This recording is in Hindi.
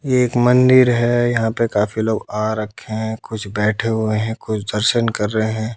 एक मंदिर है यहां पे काफी लोग आ रखे हैं कुछ बैठे हुए हैं कुछ दर्शन कर रहे--